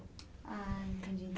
Ah, entendi.